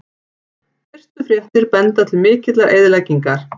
Fyrstu fréttir benda til mikillar eyðileggingar